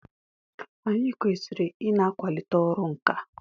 Anyị kwesịrị ị na-akwalite ọrụ nkà.